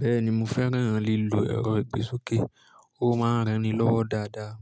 Bẹ́ẹ̀ni mo fẹ́ràn lílo ẹ̀rọ ìgbésókè, ó máa ń rẹ́ni lọ́wọ́ dáadáa.